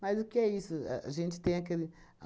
Mas o que é isso? Ahn a gente aquele